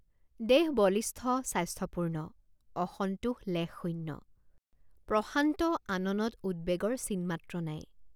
দেহ বলিষ্ঠ স্বাস্থ্যপূৰ্ণঅসন্তোষ লেশশূন্য। দেহ বলিষ্ঠ স্বাস্থ্যপূৰ্ণঅসন্তোষ লেশশূন্য। প্ৰশান্ত আননত উদ্বেগৰ চিনমাত্ৰ নাই।